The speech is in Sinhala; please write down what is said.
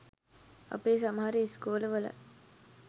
අපේ සමහර ඉස්කෝල වලත්